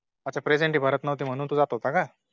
अच्छा Presenty भरत नव्हती म्ह्णून तू जात होता का